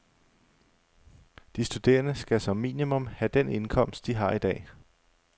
De studerende skal som minimum have den indkomst, de har i dag.